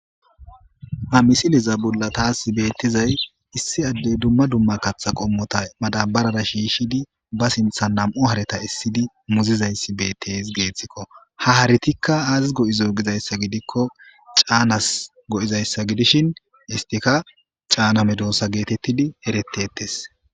Ha missileza bolla tas bethizay Issi adde dumma dumma katha qommotha madabarar shishidi ba sinthan namu' hare essidi muzuzay betheseko ha harethika azis goi'zo gikko canass goo'zza gidishin isthikka canna medosa gethethidi ereththes.